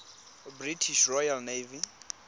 british royal navy